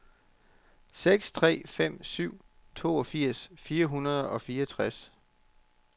seks tre fem syv toogfirs fire hundrede og fireogtres